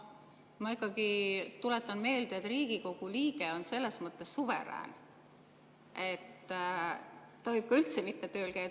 Ma ikkagi tuletan meelde, et Riigikogu liige on selles mõttes suverään, et ta võib ka üldse mitte tööl käia.